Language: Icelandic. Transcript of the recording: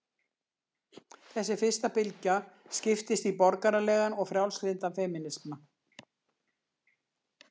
Þessi fyrsta bylgja skiptist í borgaralegan og frjálslyndan femínisma.